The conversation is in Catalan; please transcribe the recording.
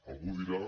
algú dirà